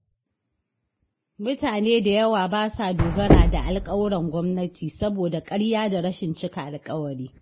Mutane da yawa ba sa dogara da alƙawuran gwamnati, saboda ƙarya da rashin cika alƙawari.